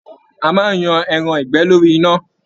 A máa n yan ẹran ìgbẹ́ lórí iná.